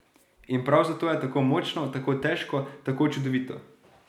In prav zato je tako močno, tako težko, tako čudovito.